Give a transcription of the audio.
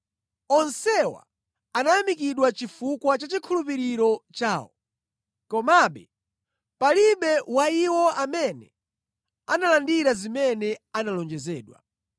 Onsewa anayamikidwa chifukwa cha chikhulupiriro chawo, komabe palibe wa iwo amene analandira zimene analonjezedwa.